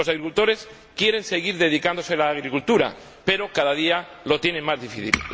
Los agricultores quieren seguir dedicándose a la agricultura, pero cada día lo tienen más difícil.